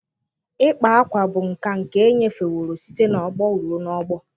Ịkpa akwa bụ nkà nke enyefeworo site n'ọgbọ ruo n'ọgbọ.